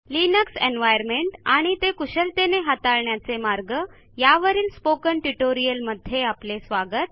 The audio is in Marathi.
लिनक्स एन्व्हायर्नमेंट आणि ते कुशलतेने हाताळण्याचे मार्ग यावरील स्पोकन ट्युटोरियलमध्ये आपले स्वागत